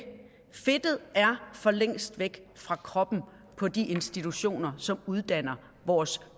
fedtet er for længst væk fra kroppen på de institutioner som uddanner vores